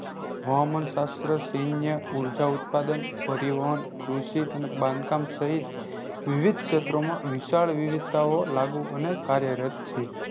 હવામાનશાસ્ત્ર સેન્ય ઉર્જા ઉદ્પાદન પરિવહન કુષી અને બાંધકામ સહીત વિવિઘ ક્ષેત્રો માં વિશાળ વિવીઘતાઓ લાગુ અને કાર્યરત છે